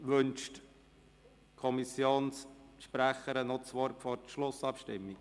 Wünscht die Kommissionssprecherin das Wort noch vor der Schlussabstimmung?